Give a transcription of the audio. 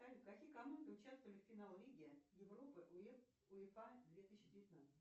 салют какие команды участвовали в финале лиги европы уефа две тысячи девятнадцать